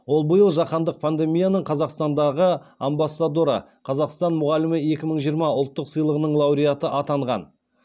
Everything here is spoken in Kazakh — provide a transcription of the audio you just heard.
ол биыл жаһандық премияның қазақстандағы амбассадоры қазақстан мұғалімі екі мың жиырма ұлттық сыйлығының лауреаты атанған